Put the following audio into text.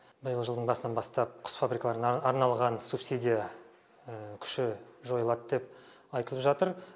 биылғы жылдың басынан бастап құс фабрикаларына арналған субсидия күші жойылады деп айтылып жатыр